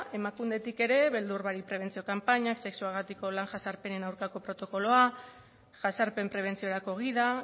emakundetik ere beldur barik interbentzio kanpaina sexuagatiko lan jazarpenen aurkako protokoloa jazarpen prebentziorako gida